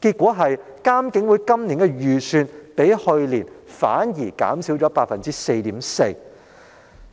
結果，監警會今年的預算開支反而較去年減少了 4.4%，